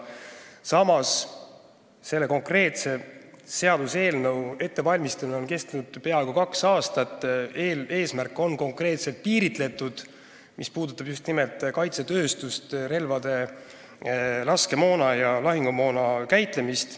Samas on selle konkreetse seaduseelnõu ettevalmistamine kestnud peaaegu kaks aastat ja eesmärk on konkreetselt piiritletud, puudutades just nimelt kaitsetööstust, relvade, laskemoona ja lahingumoona käitlemist.